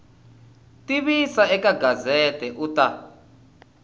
tivisa eka gazette u ta